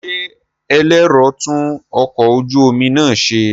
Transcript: Ṣé ẹlẹ́rọ tún ọkọ̀ ojú omi náà ṣe?